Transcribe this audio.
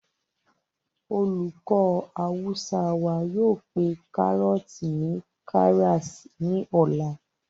olùkọ́ awúsá wa yóò pé kárọ̀ọ̀tì ni karas ní ọ̀la